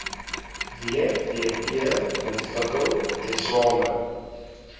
wvp ontwikkel tesame